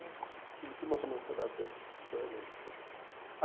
Eles tinham manchado a minha sociedade, a sociedade deles.